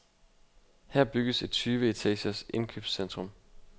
Her bygges et tyve etagers indkøbscentrum.